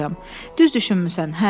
Düz düşünmüsən.